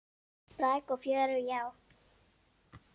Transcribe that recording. Spræk og fjörug, já.